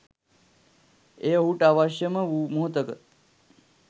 එය ඔහුට අවශ්‍ය ම වූ මොහොතක